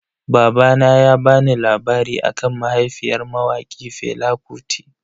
Babana yana bani labari akan mahaifiyar mawaki Fela Kuti.